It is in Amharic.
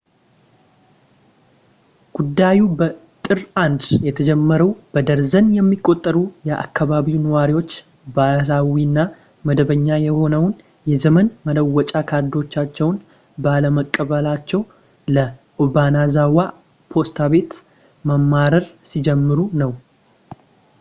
ጉዳዩ በጥር 1 የተጀመረው በደርዘን የሚቆጠሩ የአከባቢው ነዋሪዎች ባህላዊ እና መደበኛ የሆነውን የዘመን መለወጫ ካርዶቻቸውን ባለመቀበላቸው ለobanazawa ፖስታ ቤት ማማረር ሲጀምሩ ነው